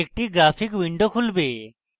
একটি graphic window খুলবে